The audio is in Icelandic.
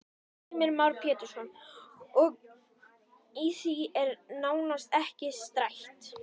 Heimir Már Pétursson: Og í því er nánast ekki stætt?